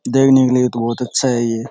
देखने के लिए तो बहुत अच्छा है ये।